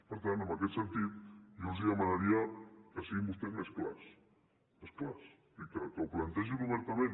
per tant en aquest sentit jo els demanaria que siguin vostès més clars més clars i que ho plantegin obertament